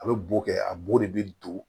A bɛ bo kɛ a bo de bɛ don